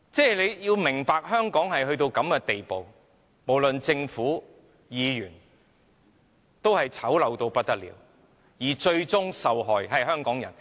大家要明白，香港已經到了這個地步，無論是政府或議員也醜陋到不得了，而最終受害的是香港人。